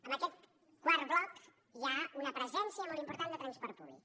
en aquest quart bloc hi ha una presència molt important de transport públic